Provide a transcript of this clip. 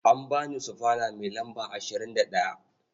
An ba ni sufana mai lamba 21.